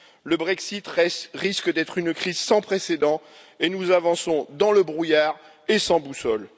Le Brexit risque d'être une crise sans précédent, et nous avançons dans le brouillard et sans boussole.